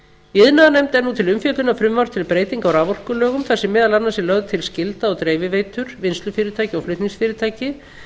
iðnaðarnefnd er nú til umfjöllunar frumvarp til breytinga á raforkulögum þar sem meðal annars er lögð til skylda á dreifiveitum vinnslufyrirtæki og flutningsfyrirtækið